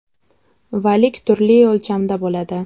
Valik turli o‘lchamda bo‘ladi.